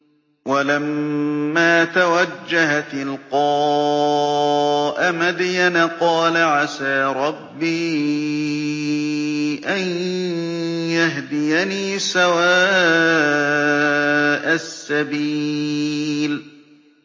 وَلَمَّا تَوَجَّهَ تِلْقَاءَ مَدْيَنَ قَالَ عَسَىٰ رَبِّي أَن يَهْدِيَنِي سَوَاءَ السَّبِيلِ